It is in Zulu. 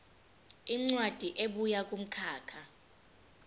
incwadi ebuya kumkhakha